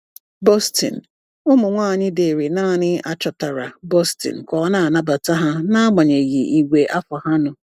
Boston: Ụmụ nwanyị dịrị naanị achọtara Boston ka ọ na-anabata ha, n’agbanyeghị ìgwè afọ ha nọ.